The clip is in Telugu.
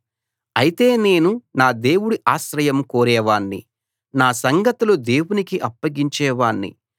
అయితే నేను నా దేవుడి ఆశ్రయం కోరేవాణ్ణి నా సంగతులు దేవునికే అప్పగించే వాణ్ణి